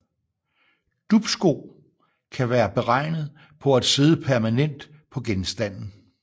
Dupsko kan være beregnet på at sidde permanent på genstanden